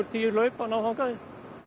tíu hlaup að ná þangað